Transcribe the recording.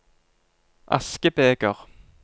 askebeger